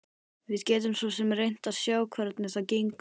Við getum svo sem reynt að sjá hvernig það gengur.